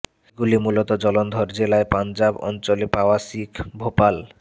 এগুলি মূলত জলন্ধর জেলায় পাঞ্জাব অঞ্চলে পাওয়া শিখ ভোপাল